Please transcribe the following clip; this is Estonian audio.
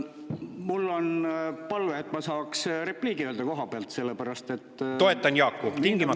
Mul on palve, et ma saaks repliigi öelda koha pealt, sellepärast et mind on siin juba mitu korda mainitud.